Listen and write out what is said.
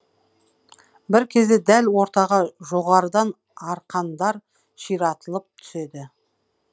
бір кезде дәл ортаға жоғарыдан арқандар ширатылып түседі